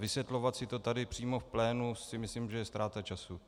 Vysvětlovat si to tady přímo v plénu si myslím, že je ztráta času.